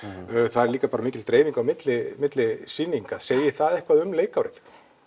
það er líka mikil dreifing á milli milli sýninga segir það eitthvað um leikárið